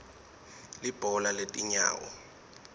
libhola letinyawo